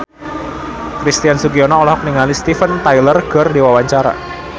Christian Sugiono olohok ningali Steven Tyler keur diwawancara